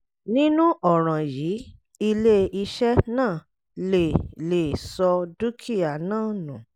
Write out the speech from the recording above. nínú ọ̀ràn yìí ilé-iṣẹ́ náà lè lè sọ dúkìá náà nù